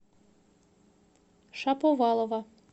шаповалова